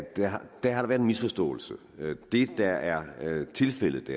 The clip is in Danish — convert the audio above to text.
der har været en misforståelse det der er tilfældet